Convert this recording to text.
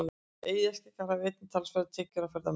Eyjaskeggjar hafa einnig talsverðar tekjur af ferðamönnum.